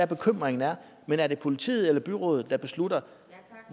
bekymringen er men er det politiet eller byrådet der beslutter